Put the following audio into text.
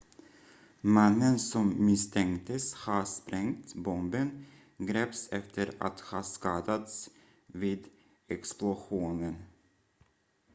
mannen som misstänktes ha sprängt bomben greps efter att ha skadats vid explosionen